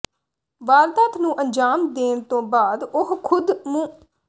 ਵਾਰਦਾਤ ਨੂੰ ਅੰਜ਼ਾਮ ਦੇਣ ਤੋਂ ਬਾਅਦ ਉਹ ਖ਼ੁਦ ਮੁ